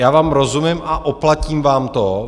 Já vám rozumím a oplatím vám to.